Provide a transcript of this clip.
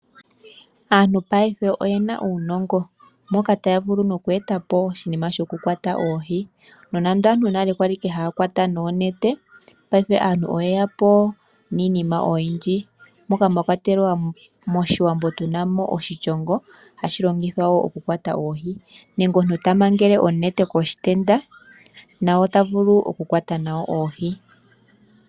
Aantu paife oyena uunongo mo ka taya vulu nokweeta po oshinima shokukwata oohi no nando aantu nale ike kwali hakwata noonete paife aantu oyeya po niinima oyinji moka mwa kwatelwa moshiwambo tuuna mo oshishongo hashi longithwa oku kwata oohi nenge omuntu tamangele onete koshitenda na ota vulu oku kwata nayo oohi.